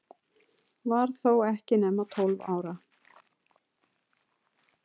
Var þó ekki nema tólf ára.